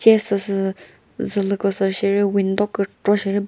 ce süsü zülüko sü sheri window kükro she ri ba--